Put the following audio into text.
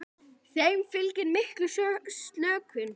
Þeim fylgir mikil slökun.